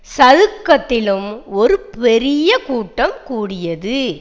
சதுக்கத்திலும் ஒரு பெரிய கூட்டம் கூடியது